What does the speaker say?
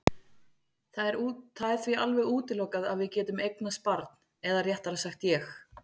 Það er því alveg útilokað að við getum eignast barn eða réttara sagt ég.